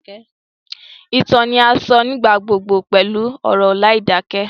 Ìtàn ni a sọ nígbà gbogbo pẹlu ọ̀rọ̀ láìdakẹ